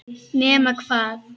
Nema hvað!